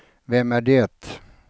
vem är det